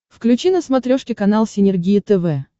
включи на смотрешке канал синергия тв